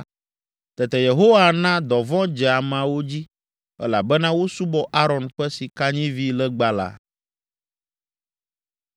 Tete Yehowa na dɔvɔ̃ dze ameawo dzi, elabena wosubɔ Aron ƒe sikanyivilegba la.